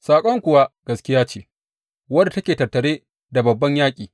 Saƙon kuwa gaskiya ce wadda take tattare da babban yaƙi.